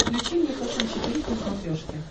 включи мне фэшен четыре к на смотрешке